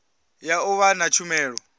ya u vha na tshumelo